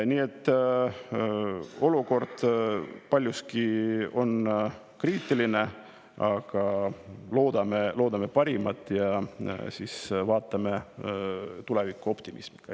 Nii et olukord on paljuski kriitiline, aga loodame parimat ja vaatame tulevikku optimismiga.